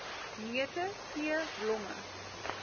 neute tee blomme